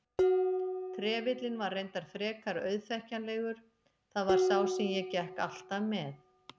Trefillinn var reyndar frekar auðþekkjanlegur, það var sá sem ég gekk alltaf með.